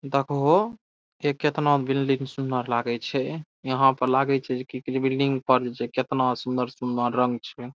देखह हो इ कितना बिल्डिंग सुनर लगय छै | यहाँ पर लगय छै की बिल्डिंग पर केतना सुन्दर-सुन्दर रंग छै।